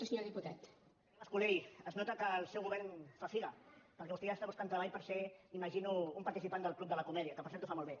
senyor mascolell es nota que el seu govern fa figa perquè vostè ja està buscant treball per ser imagino un participant del club de la comèdia que per cert ho fa molt bé